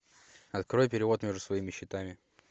открой перевод между своими счетами